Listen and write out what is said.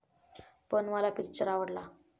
पण मला पिक्चर आवडला.